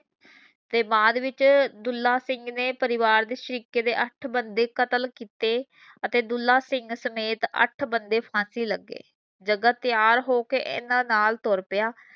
ਤੇ ਬਾਅਦ ਵਿੱਚ ਦੁਲਹਾ ਸਿੰਘ ਨੇ ਪਰਿਵਾਰ ਦੇ ਸ਼ਰੀਕੇ ਦੇ ਅੱਠ ਬੰਦੇ ਕਤਲ ਕੀਤੇ ਅਤੇ ਦੁਲ੍ਹਾ ਸਿੰਘ ਸਮੇਤ ਅੱਠ ਬੰਦੇ ਫਾਂਸੀ ਲਗੇ ਜਗਾ ਤਿਆਰ ਹੋਕੇ ਇਹਨਾਂ ਨਾਲ ਤੁਰ ਪਿਆ